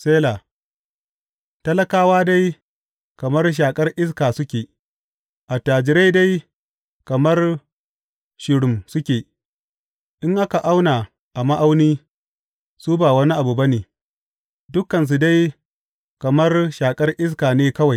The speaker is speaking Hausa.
Sela Talakawa dai kamar shaƙar iska suke, Attajirai dai kamar shirim suke; in aka auna a ma’auni, su ba wani abu ba ne; dukansu dai kamar shaƙar iska ne kawai.